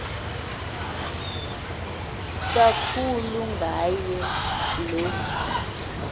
kakhulu ngaye lo